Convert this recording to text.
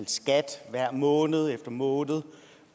skat måned efter måned